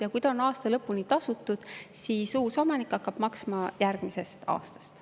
Ja kui see on aasta lõpuni tasutud, siis uus omanik hakkab maksma järgmisest aastast.